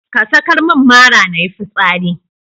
Ka sakar min mara nayi fitsari.